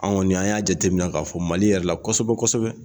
Anw kɔni an y'a jateminɛ k'a fɔ Mali yɛrɛ la kosɛbɛ kosɛbɛ